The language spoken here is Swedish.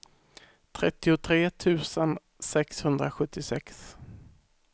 trettiotre tusen sexhundrasjuttiosex